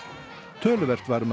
töluvert var um að